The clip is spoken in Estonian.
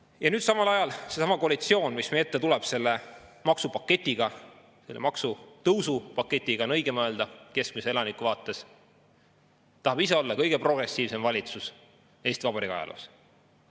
Ja nüüd samal ajal seesama koalitsioon, kes tuleb meie ette selle maksupaketiga – keskmise elaniku vaates oleks õigem öelda maksutõusu paketiga –, tahab olla kõige progressiivsem valitsus Eesti Vabariigi ajaloos.